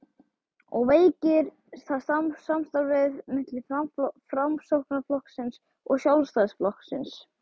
og veikir það samstarfið milli Framsóknarflokksins og Sjálfstæðisflokksins?